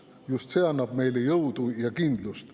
Just see annab meile jõudu ja kindlust.